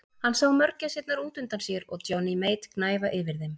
Hann sá mörgæsirnar út undan sér og Johnny Mate gnæfa yfir þeim.